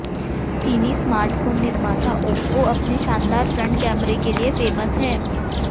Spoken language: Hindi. चीनी स्मार्टफोन निर्माता ओप्पो अपने शानदार फ्रंट कैमरे के लिए फेमस है